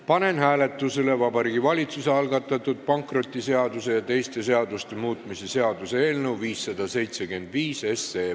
Panen hääletusele Vabariigi Valitsuse algatatud pankrotiseaduse ja teiste seaduste muutmise seaduse eelnõu 575.